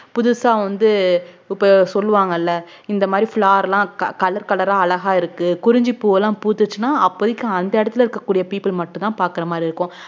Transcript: புதுசா வந்து இப்ப சொல்லுவாங்கல்ல இந்த மாதிரி flower லாம் co~ colour colour ஆ அழகா இருக்கு குறிஞ்சிப்பூவெல்லாம் பூத்துச்சுன்னா அப்போதைக்கு அந்த இடத்துல இருக்கக்கூடிய people மட்டும்தான் பாக்குற மாதிரி இருக்கும்